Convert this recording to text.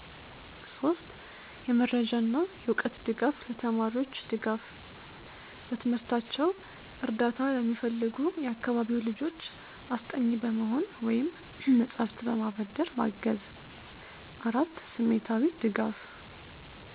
3. የመረጃና የዕውቀት ድጋፍ ለተማሪዎች ድጋፍ፦ በትምህርታቸው እርዳታ ለሚፈልጉ የአካባቢው ልጆች አስጠኚ በመሆን ወይም መጻሕፍትን በማበደር ማገዝ። 4. ስሜታዊ ድጋፍ